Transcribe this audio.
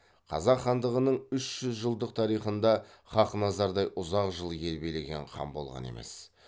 қазақ хандығының үш жүз жылдық тарихында хақназардай ұзақ жыл ел билеген хан болған емес